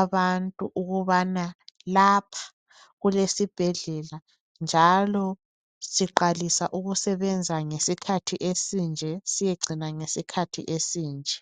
abantu ukubana lapha kulesibhedlela njalo siqalisa ukusebenza ngesikhathi esinje siyecina ngesikhathi esinje.